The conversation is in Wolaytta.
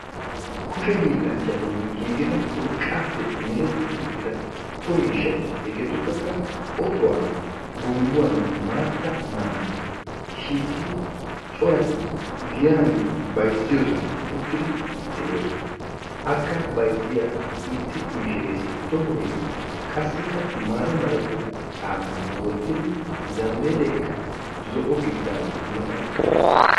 kushe hii; llnachchatun giigida urqqappe mereti uttida so miishshati hegetuppekka ottuwa, gombbuwanne maatta manaccee shiiqidi corati giyan bayzziyoosana de'oosona. akka bayzziya issi mishiressi tohoy qassikka mata malatiyaa caamma wottidi zambbelekka zo'o gididaage I mata uttiis.